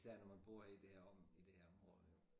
Især når man bor i det her om i det her område jo